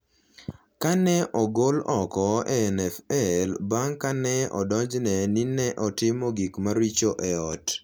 ka ne ogol oko e NFL bang’ ka ne odonjne ni ne otimo gik maricho e ot.